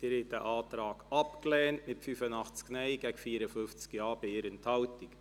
Sie haben diesen Antrag abgelehnt mit 85 Ja- zu 54 Nein-Stimmen bei 1 Enthaltung.